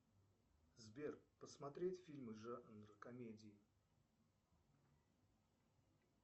сбер посмотреть фильмы жанр комедии